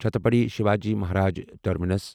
Chhatrapati Shivaji Maharaj terminus